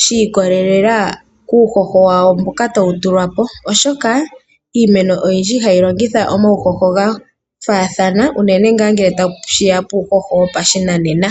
shiikwatelela kuuhoho mboka tawu tulwa po oshoka iimeno oyindji ihayilongitha omawuhoho gafaathana unene ngele tashiya puuhoho wopashinanena.